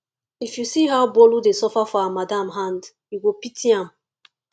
if you see how bolu dey suffer for her madam hand you go pity am